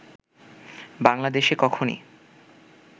বাংলাদেশে কখনই